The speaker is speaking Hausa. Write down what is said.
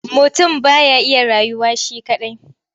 Mutum ba ya iya rayuwa shi kaɗai.